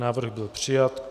Návrh byl přijat.